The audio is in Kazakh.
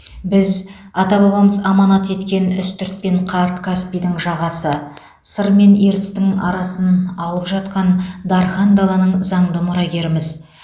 біз ата бабамыз аманат еткен үстірт пен қарт каспийдің жағасы сыр мен ертістің арасын алып жатқан дархан даланың заңды мұрагеріміз